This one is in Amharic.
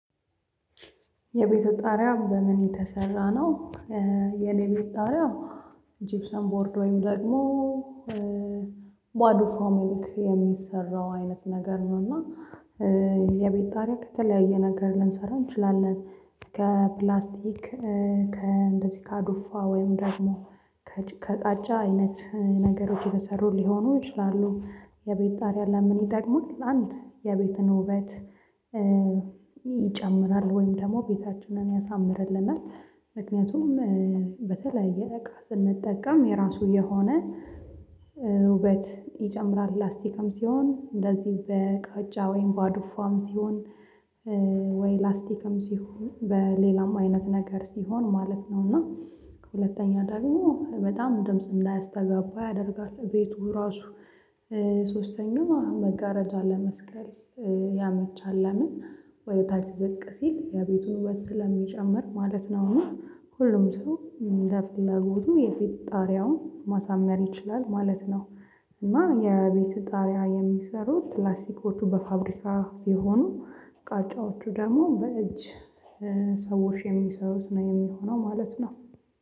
የቤትህ ጣሪያ በምን የተሰራ ነው? የኔ የቤት ጣሪያ ጅብሰም ቦርድ ወይም ደግሞ ባዶ ፋሚሊክ የሚሰራው አይነት ነገር ነው እና የቤት ጣሪያ ከተለያየ ነገር ልንሰራ እንችላለን ከፕላስቲክ ከእንደዚህ ከአዱፋ ወይም ደግሞ ከጭቃ ከቃጫ አይነት ነገሮች የተሰሩ ሊሆኑ ይችላሉ የቤት ጣሪያ ለምን ይጠቅማል? አንድ የቤትን ውበት ይጨምራል ወይም ደግሞ ቤታችንን ያሳምርልናል ምክንያቱም በተለያየ እቃ ስንጠቀም የራሱ የሆነ ውበት ይጨምራል ላስቲክም ሲሆን እንደዚህ በቃጫ ወይም ባዱፋም ሲሆን ወይ ላስቲክም ሲሆን በሌላም አይነት ነገር ሲሆን ማለት ነው እና ከሁለተኛ ደግሞ በጣም ድምጽ እንዳያስተጋባ ያደርጋል ቤቱ ራሱ ሶስተኛ መጋረጃ ለመስቀል ያመቻል ለምን ወደ ታች ዝቅ ሲል የቤቱን ውበት ስለሚጨምር ማለት ነው እኔ ሁሉም ሰው እንደፍለጎቱ የቤት ጣሪያውን ማሳመር ይችላል ማለት ነው እና የቤት ጣሪያ የሚሰሩት ፕላስቲኮቹ በፋብሪካ የሆኑ ቃጫዎቹ ደግሞ በእጅ ሰዎች የሚሰሩት ነው የሚሆነው ማለት ነው